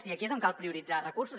i aquí és on cal prioritzar recursos